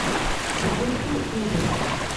запусти ужасы